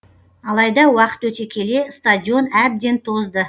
алайда уақыт өте келе стадион әбден тозды